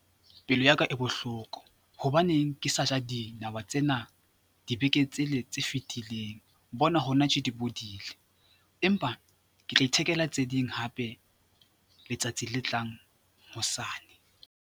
Pelo ya ka e bohloko. Hobaneng ke sa ja dinawa tsena dibekeng tsele tse fitileng bona hona tje di bodile empa ke tla ithekela tse ding hape, letsatsi le tlang, hosane.